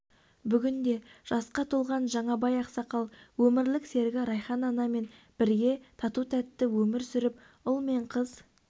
бүгінде жасқа толған жаңабай ақсақал өмірлік серігі райхан анамен бірге тату-тәтті өмір сүріп ұл мен қыз